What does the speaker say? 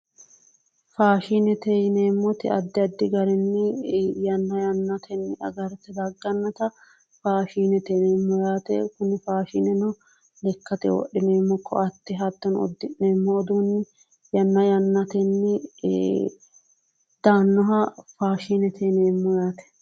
faashinete yineemmoti addi addi garinni yanna yanna agarte daggannota faashinete yineemmo yaate kuni faashineno lekkate wodhineemmo koatte hattono uddi'neemmo uduunni yanna yannatenni daannoha faashinete yineemmo yaate.